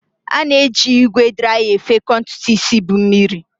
A na-eji ígwè draya efekọ ntutu isi bu mmiri.